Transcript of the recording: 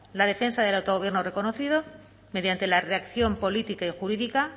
la defensa del autogobierno reconocido mediante la reacción política y jurídica